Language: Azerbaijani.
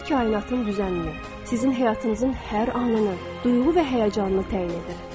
O kainatın düzənini, sizin həyatınızın hər anını, duyğu və həyəcanını təyin edir.